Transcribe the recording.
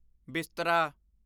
ਬਿਸਤਰਾ